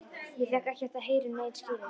Ég fékk ekkert að heyra um nein skilyrði.